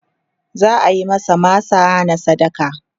za'ayi masa masa na sadaka